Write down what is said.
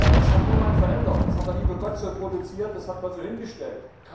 Das hat niemand verändert, das hat der liebe Gott so produziert, das hat man so hingestellt.